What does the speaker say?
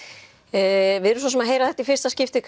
við erum svo sem að heyra þetta í fyrsta skiptið